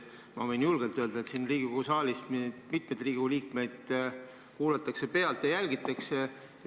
Ma võin julgelt öelda siin Riigikogu saalis, et mitmeid Riigikogu liikmeid kuulatakse pealt ja jälgitakse.